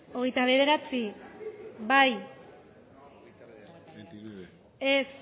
hogeita bederatzi bozkatu dezakegu